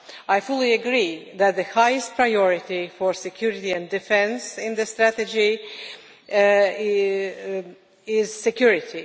I fully agree that the highest priority for security and defence in this strategy is security.